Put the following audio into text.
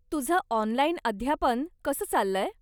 तुझं ऑनलाइन अध्यापन कसं चाललंय?